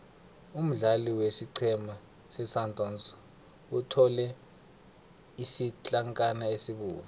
umdlali wesiqhema sesundowns uthole isitlankana esibovu